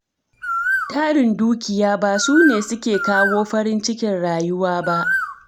Tarin dukiya ba sune suke kawo farin cikin rayuwa ba.